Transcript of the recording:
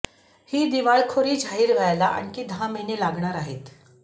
ती दिवाळखोरी जाहीर व्हायला आणखी दहा महिने लागणार आहेत